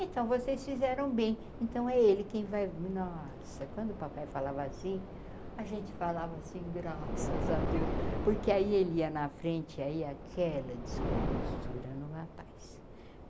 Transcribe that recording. Então vocês fizeram bem, então é ele quem vai... Nossa, quando o papai falava assim, a gente falava assim, graças a Deus, porque aí ele ia na frente, aí aquela descompostura no rapaz.